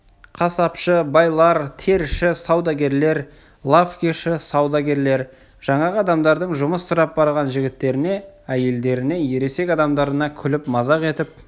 қасапшы байлар теріші саудагерлер лавкеші саудагерлер жаңағы адамдардың жұмыс сұрап барған жігіттеріне әйелдеріне ересек адамдарына күліп мазақ етіп